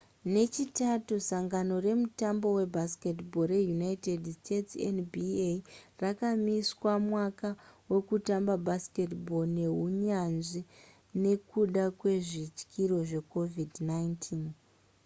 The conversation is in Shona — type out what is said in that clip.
nechitatu sangano remutambo webasketball reunited states nba rakamisa mwaka wekutamba basketball rehunyanzvi nekuda kwezvityiro zvecovid-19